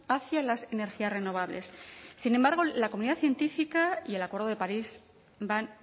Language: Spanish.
hacia las energías renovables sin embargo la comunidad científica y el acuerdo de parís van